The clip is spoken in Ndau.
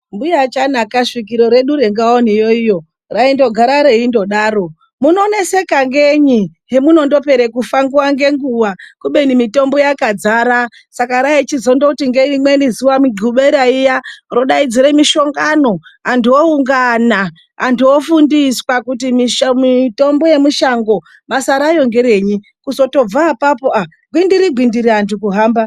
Mbuya waChanaka , svikoro redu renga iyo iyo, raimbogara reindodaro," Munoneseka ngenyi pemunondopera kufa nguva ngenguva kobeni mitombo yakadzara." Saka raichidzongoti ngerimweni zuva Mudhlobera iyayaya rodaidzire mishongano, antu oungana. Ontu ofundiswa kuti mitombo yemushango basa rayo ngerenyi. Kuzongotobva apapo, gwindiri gwindiri antu kuhamba.